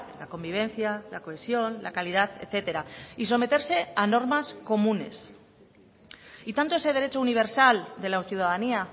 la convivencia la cohesión la calidad etcétera y someterse a normas comunes y tanto ese derecho universal de la ciudadanía